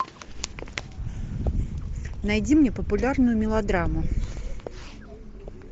найди мне популярную мелодраму